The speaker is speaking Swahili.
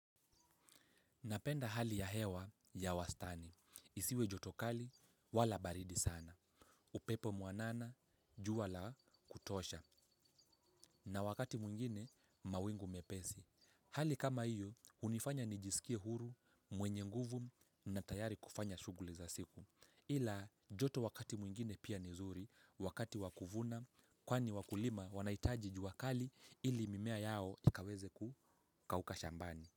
Napenda hali ya hewa ya wastani. Isiwe joto kali, wala baridi sana. Upepe mwanana, jua la kutosha. Na wakati mwingine, mawingu mepesi. Hali kama hiyo, hunifanya nijisikie huru, mwenye nguvu na tayari kufanya shughuli za siku. Ila, joto wakati mwingine pia ni zuri, wakati wa kuvuna, kwani wakulima wanahitaji jua kali ili mimea yao ikaweze kukauka shambani.